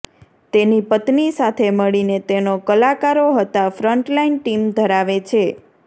તેની પત્ની સાથે મળીને તેઓ કલાકારો હતા ફ્રન્ટલાઈન ટીમ ધરાવે છે